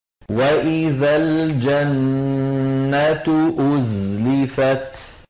وَإِذَا الْجَنَّةُ أُزْلِفَتْ